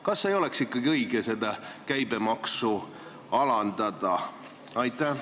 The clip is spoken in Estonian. Kas ei oleks õige seda käibemaksu alandada?